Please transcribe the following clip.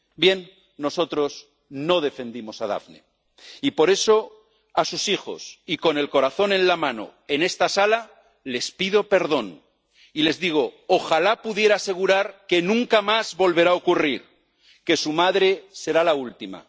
Bien, nosotros no defendimos a Daphne, y por eso a sus hijos y con el corazón en la mano en esta sala, les pido perdón y les digo ¡ojalá pudiera asegurar que nunca más volverá a ocurrir, que su madre será la última!